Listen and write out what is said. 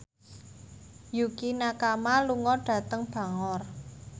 Yukie Nakama lunga dhateng Bangor